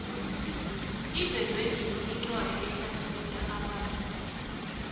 ivezwenini incwadi enlathulula amazwina